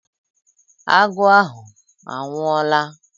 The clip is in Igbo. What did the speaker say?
Agụ ahụ anwụọla?